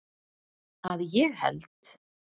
Að ég held.